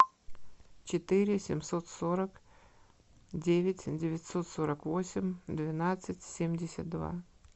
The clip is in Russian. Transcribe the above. четыре семьсот сорок девять девятьсот сорок восемь двенадцать семьдесят два